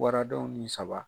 Waradenw ni saba